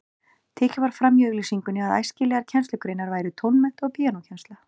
Tekið var fram í auglýsingunni að æskilegar kennslugreinar væru tónmennt og píanókennsla.